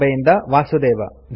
ಬಾಂಬೆಯಿಂದ ವಾಸುದೇವ